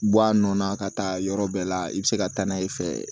Bɔ a nɔ na ka taa yɔrɔ bɛɛ la i bɛ se ka taa n'a ye i fɛ